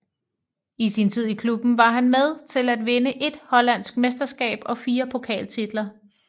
I sin tid i klubben var han med til at vinde ét hollandske mesterskab og fire pokaltitler